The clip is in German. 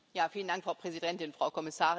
Frau Präsidentin, Frau Kommissarin!